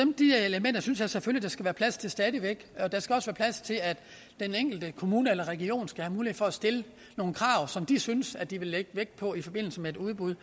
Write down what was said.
jeg selvfølgelig der skal være plads til stadig væk og der skal også være plads til at den enkelte kommune eller region skal have mulighed for at stille nogle krav som de synes de vil lægge vægt på i forbindelse med et udbud